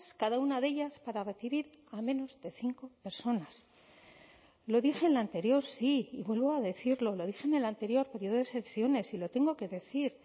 cada una de ellas para recibir a menos de cinco personas lo dije en la anterior sí y vuelvo a decirlo lo dije en el anterior periodo de sesiones y lo tengo que decir